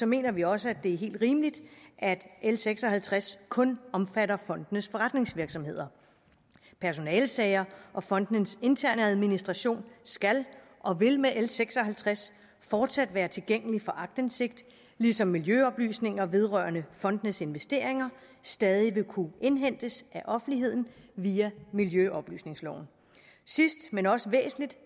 mener vi også det er helt rimeligt at l seks og halvtreds kun omfatter fondenes forretningsvirksomhed personalesager og fondenes interne administration skal og vil med l seks og halvtreds fortsat være tilgængelig for aktindsigt ligesom miljøoplysninger vedrørende fondenes investeringer stadig vil kunne indhentes af offentligheden via miljøoplysningsloven sidst men også væsentligt